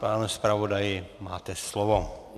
Pane zpravodaji, máte slovo.